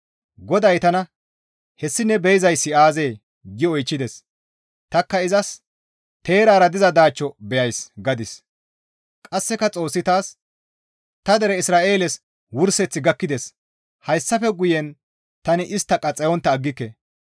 GODAY tana, «Hessi ne be7izayssi aazee?» gi oychchides; tanikka izas, «Teerara diza daachcho beyays» gadis; qasseka Xoossi taas, «Ta dere Isra7eeles wurseththi gakkides; hayssafe guyen tani istta qaxxayontta aggike.